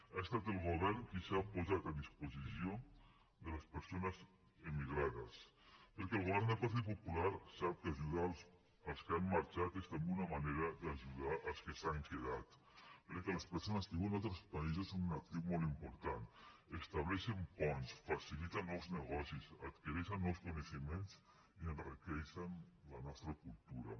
ha estat el govern qui s’ha posat a disposició de les persones emigrades perquè el govern del partit popular sap que ajudar els que han marxat és també una manera d’ajudar els que s’han quedat perquè les persones que viuen a altres països són un actiu molt important estableixen ponts faciliten nous negocis adquireixen nous coneixements i enriqueixen la nostra cultura